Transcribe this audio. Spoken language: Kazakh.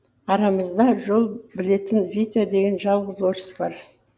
арамызда жол білетін витя деген жалғыз орыс бар